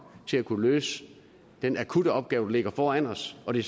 til at kunne løse den akutte opgave der ligger foran os og det